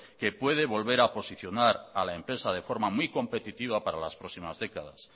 que puede volver a posicionar a la empresa de forma muy competitiva para las próximas décadas